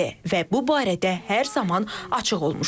Və bu barədə hər zaman açıq olmuşuq.